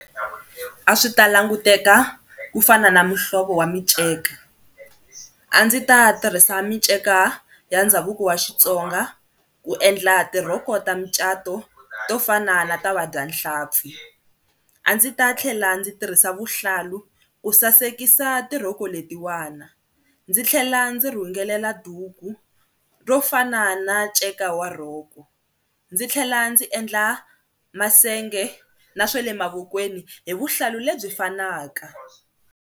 A swi ta languteka ku fana na muhlovo wa miceka, a ndzi ta tirhisa miceka ya ndhavuko wa Xitsonga ku endla tirhoko ta mucato to fana na ta vabyanhlampfi, a ndzi ta tlhela ndzi tirhisa vuhlalu ku sasekisa tirhoko letiwana ndzi tlhela ndzi rhungelela duku ro fana na nceka wa rhoko ndzi tlhela ndzi endla masenge na swa le mavokweni hi vuhlalu lebyi fanaka.